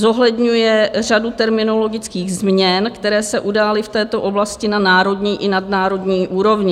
Zohledňuje řadu terminologických změn, které se udály v této oblasti na národní i nadnárodní úrovni.